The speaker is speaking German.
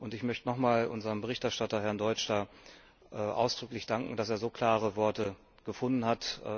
Ich möchte noch einmal unserem Berichterstatter, Herrn Deutsch, ausdrücklich danken, dass er so klare Worte gefunden hat.